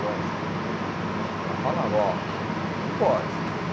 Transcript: Lógico, porque o livro vai falar, ó, não pode.